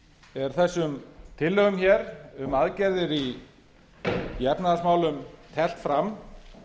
er þessum tillögum hér um aðgerðir í efnahagsmálum teflt fram